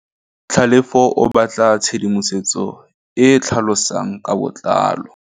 Tlhalefô o batla tshedimosetsô e e tlhalosang ka botlalô.